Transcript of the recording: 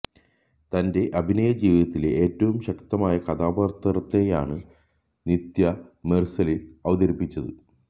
തന്റെ അഭിനയ ജീവിതത്തിലെ ഏറ്റവും ശക്തമായ കഥാപാത്രത്തെയാണ് നിത്യ മെർസലിൽ അവതരിപ്പിച്ചത്